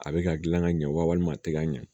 A bɛ ka gilan ka ɲɛ walima a tɛ ka ɲɛ